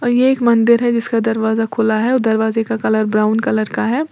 ये एक मंदिर है जिसका दरवाजा खुला है दरवाजे का कलर ब्राउन कलर का है।